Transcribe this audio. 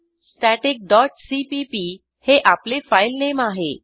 static dot CPP हे आपले file name आहे